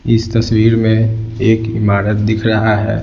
इस तस्वीर में एक इमारत दिख रहा है।